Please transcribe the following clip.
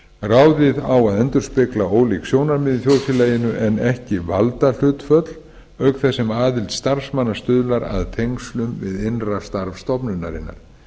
ráðið á að endurspegla ólík sjónarmið í þjóðfélaginu en ekki valdahlutföll auk þess sem aðild starfsmanna stuðlar að tengslum við innra starf stofnunarinnar